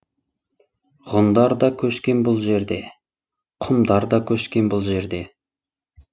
ғұндар да көшкен бұл жерде құмдар да көшкен бұл жерде